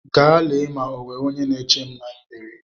Gaa lee ma e nwere onye na-eche m n'ịbarị!